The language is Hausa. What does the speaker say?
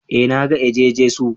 Eh na ga eje-Jesu